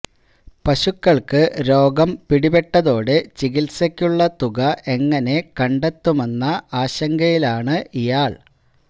പശുക്കള്ക്ക് രോഗം പിടിപെട്ടതോടെ ചികിത്സയ്ക്കുള്ള തുക എങ്ങനെ കണ്ടെത്തുമെന്നുള്ള ആശങ്കയിലാണ് ഇയാള്